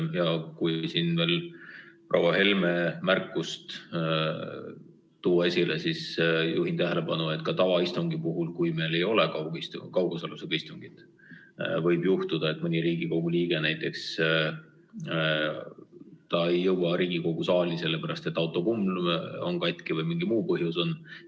Ja kui siin veel proua Helme märkusele viidata, siis juhin tähelepanu, et ka tavaistungi puhul, kui meil ei ole kaugosalusega istung, võib juhtuda, et mõni Riigikogu liige ei jõua Riigikogu saali näiteks sellepärast, et autokumm on katki või mingi muu põhjus on.